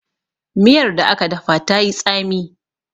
miyar da aka dafa ta yi tsami